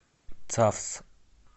цавс